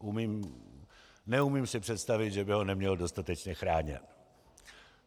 Neumím si představit, že by ho neměl dostatečně chráněn.